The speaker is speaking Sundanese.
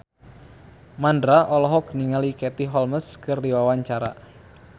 Mandra olohok ningali Katie Holmes keur diwawancara